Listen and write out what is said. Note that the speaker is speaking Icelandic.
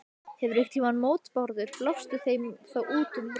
Hafirðu einhverjar mótbárur, blástu þeim þá út um rassinn.